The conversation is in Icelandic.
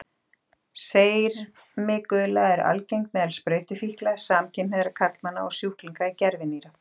Sermigula er algeng meðal sprautufíkla, samkynhneigðra karlmanna og sjúklinga í gervinýra.